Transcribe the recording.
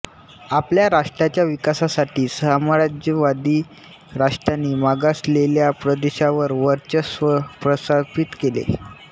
आपल्या राष्ट्राच्या विकासासाठी साम्राज्यवादी राष्ट्रांनी मागासलेल्या प्रदेशावर वर्चस्व प्रस्थापित केले